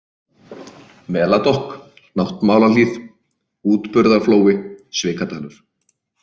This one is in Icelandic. Meladokk, Náttmálahlíð, Útburðarflói, Svikadalur